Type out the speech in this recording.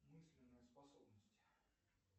мысленные способности